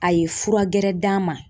A ye fura gɛrɛ d'a ma.